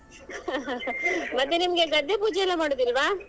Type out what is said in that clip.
ಮತ್ತೇ ನಿಮ್ಗೆ ಗದ್ದೆ ಪೂಜೆಲ್ಲಾ ಮಾಡುದಿಲ್ವಾ?